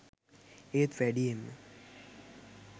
ඒත් වැඩියෙන්ම